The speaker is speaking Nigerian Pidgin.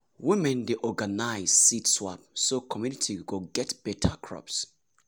women dey organize seed swap so community go get better crops.